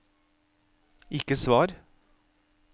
ikke svar